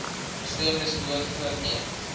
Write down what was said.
gestremdes behoort voorkeur